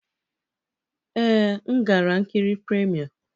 Ee, m gara nkiri premiere.